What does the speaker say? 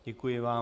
Děkuji vám.